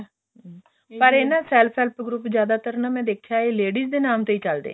ਪਰ ਇਹ ਨਾ self help group ਜਿਆਦਾਤਰ ਮੈਂ ਦੇਖਿਆ ਇਹ ladies ਦੇ ਨਾਮ ਤੋਂ ਹੀ ਚਲਦੇ ਨੇ